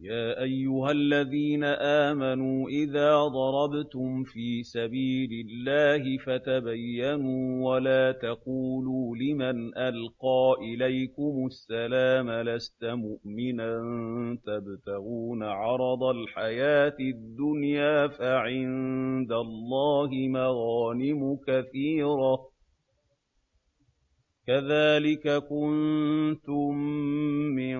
يَا أَيُّهَا الَّذِينَ آمَنُوا إِذَا ضَرَبْتُمْ فِي سَبِيلِ اللَّهِ فَتَبَيَّنُوا وَلَا تَقُولُوا لِمَنْ أَلْقَىٰ إِلَيْكُمُ السَّلَامَ لَسْتَ مُؤْمِنًا تَبْتَغُونَ عَرَضَ الْحَيَاةِ الدُّنْيَا فَعِندَ اللَّهِ مَغَانِمُ كَثِيرَةٌ ۚ كَذَٰلِكَ كُنتُم مِّن